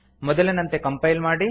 ಮೊದಲಿನಂತೆ ಕಂಪೈಲ್ ಮಾಡಿ